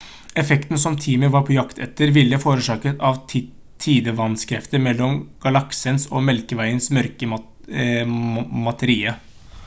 effekten som teamet var på jakt etter ville forårsakes av tidevannskrefter mellom galaksens og melkeveiens mørke materie